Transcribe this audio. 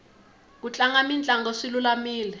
ku tlanga mitlango swi lulamile